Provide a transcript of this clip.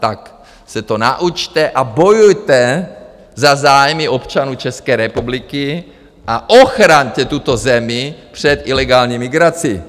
Tak se to naučte a bojujte za zájmy občanů České republiky a ochraňte tuto zemi před ilegální migrací.